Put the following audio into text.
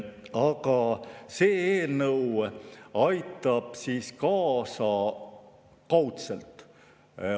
Aga see eelnõu aitab siin kaasa kaudselt.